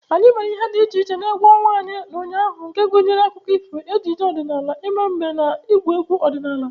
Anyị mere ihe dị iche n'egwu ọnwa anyị ụnyaahụ nke gụnyere akụkọ ifo, ejije ọdịnala, ịma mbem, na ịgwu egwu ọdinala.